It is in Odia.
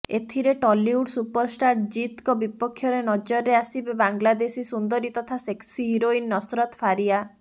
ଏଥିରେ ଟଲିଉଡ ସୁପରଷ୍ଟାର ଜିତଙ୍କ ବିପକ୍ଷରେ ନଜରରେ ଆସିବେ ବାଂଲାଦେଶୀ ସୁନ୍ଦରୀ ତଥା ସେକ୍ସି ହିରୋଇନ ନସରତ ଫାରିଆ